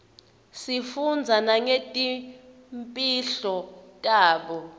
sifundza nangetimpihlo tabo